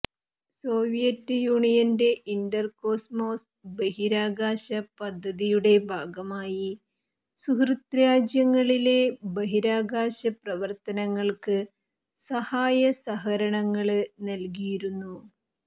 Soviet യൂണിയന്റെ Intercosmos ബഹിരാകാശ പദ്ധതിയുടെ ഭാഗമായി സുഹൃത്രാജ്യങ്ങളിലെ ബഹിരാകാശ പ്രവര്ത്തനങ്ങള്ക്ക് സഹായസഹകരണങ്ങള് നല്കിയിരുന്നു